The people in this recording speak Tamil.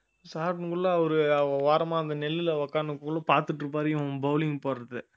ஒரு ஓரமா அந்த நெல்லுல உட்கார்ந்தின்னுகுள்ள பார்த்துட்டு இருப்பாரு இவன் bowling போடுறதை